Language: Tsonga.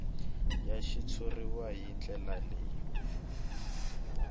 ya xitshuriwa hi ndlela leyi